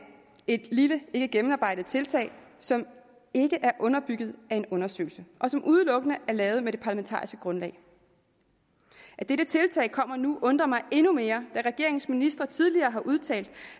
et lille ikkegennemarbejdet tiltag som ikke er underbygget af en undersøgelse og som udelukkende er lavet med det parlamentariske grundlag at dette tiltag kommer nu undrer mig endnu mere da regeringens ministre tidligere har udtalt